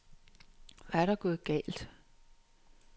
Hvad er der gået galt?